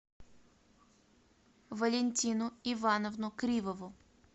валентину ивановну кривову